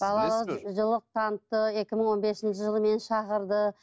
балаларға жылылық танытты екі мың он бесінші жылы мені шақырды